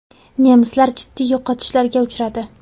Nemislar jiddiy yo‘qotishlarga uchradi.